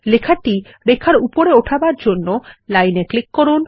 লেখাটি রেখার উপরে ওঠানোর জন্য লাইন এ ক্লিক করুন